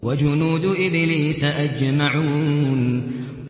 وَجُنُودُ إِبْلِيسَ أَجْمَعُونَ